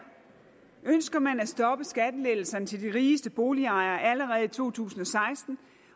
ønsker man at stoppe skattelettelser til de rigeste boligejere allerede i to tusind og seksten